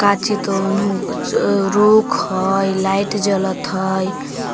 काची तो उनहु अ रुख हय लाइट जलत हय।